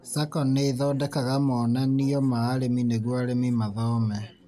SACCO nĩthondekaga monanio ma arĩmi nĩguo arĩmi mathome